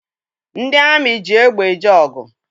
Ndị amị ji egbe eje ọgụ.